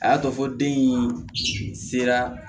A y'a to fo den in sera